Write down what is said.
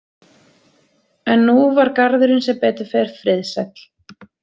En nú var garðurinn sem betur fer friðsæll.